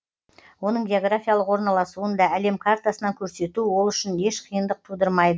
оның географиялық орналасуын да әлем картасынан көрсету ол үшін еш қиындық тудырмайды